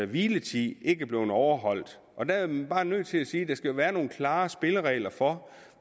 hviletid ikke er blevet overholdt og der er vi bare nødt til at sige at der skal være nogle klare spilleregler for